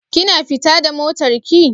Kina fita da motar ki?